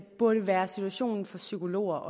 burde være situationen for psykologer